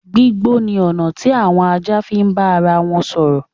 Gbígbó ni ọ̀nà tí àwọn ajá fi ń bá ara wọn sọ̀rọ̀.